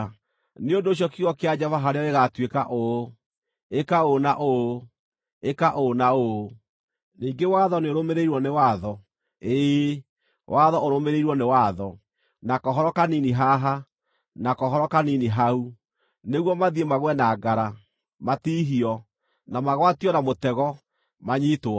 Nĩ ũndũ ũcio kiugo kĩa Jehova harĩo gĩgaatuĩka ũũ: Ĩka ũũ na ũũ, ĩka ũũ na ũũ, ningĩ watho nĩũrũmĩrĩirwo nĩ watho, ĩĩ, watho ũrũmĩrĩirwo nĩ watho; na kohoro kanini haha, na kohoro kanini hau: nĩguo mathiĩ magũe na ngara, matiihio, na magwatio na mũtego, manyiitwo.